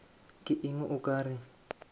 ke eng o ka re